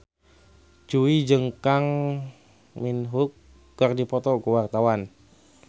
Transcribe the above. Jui jeung Kang Min Hyuk keur dipoto ku wartawan